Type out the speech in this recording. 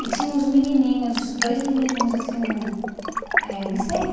E tinha uns menininhos, dois menininhos, assim, eh nem sei.